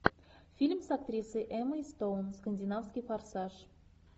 фильм с актрисой эммой стоун скандинавский форсаж